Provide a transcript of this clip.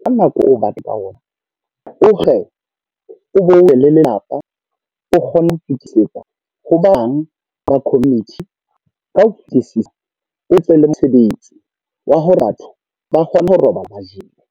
ka nako eo o batlang ka ona. O le lelapa o kgone ho fetisetsa ho bang ba community. Ka ho fetisisa o tle le mosebetsi wa hore batho ba kgone ho robala ba jele.